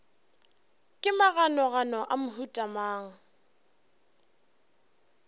ke maganogano a mohuta mang